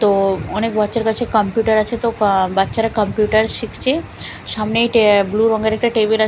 তো অনেক বাচ্চার কাছে কাম্পিউটার আছে তো আঃ বাচ্চারা কাম্পিউটার শিখছে সামনেই ট্যা ব্লু রঙের একটা টেবিল আ--